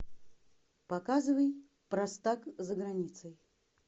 показывай простак за границей